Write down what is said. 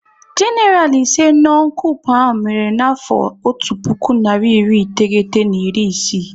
Genaral ise no n' koup ahụ mere n'afọ otu puku narị iri iteghete na iri isii